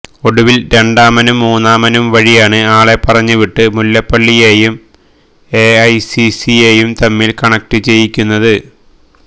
ഒടുവില് രണ്ടാമനും മൂന്നാമനും വഴിയാണ് ആളെ പറഞ്ഞുവിട്ട് മുല്ലപ്പള്ളിയെയും എ ഐ സി സിയെയും തമ്മില് കണക്റ്റ് ചെയ്യിക്കുന്നത്